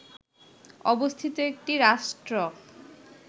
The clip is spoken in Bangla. অবস্থিত একটি রাষ্ট্র